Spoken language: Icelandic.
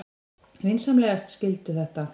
Vinsamlegast skildu þetta.